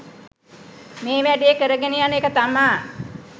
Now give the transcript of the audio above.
මේ වැඩේ කරගෙන යන එක තමා